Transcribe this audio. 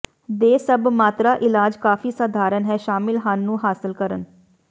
ਦੇ ਸਭ ਮਾਤਰਾ ਇਲਾਜ ਕਾਫ਼ੀ ਸਧਾਰਨ ਹੈ ਸ਼ਾਮਿਲ ਹਨ ਨੂੰ ਹਾਸਲ ਕਰਨ